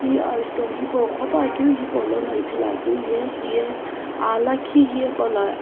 he azuto hipou ghopa keu hepolono ithulu la keu ye heye ahlakhi heye kuahla.